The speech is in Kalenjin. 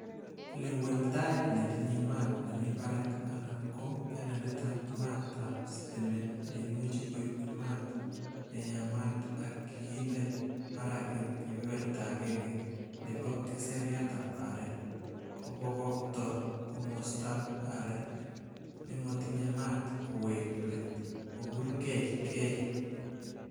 Lewen tait netinye maat nemi barak anan ko panelitab maat ab sitimet, neimuch koib maat neyamat ak kiinde barak en kebeberta agenge nebo keseraitab aarek, kobokokto komostab aarek nemotinye maat kowek leet kopurgee geei.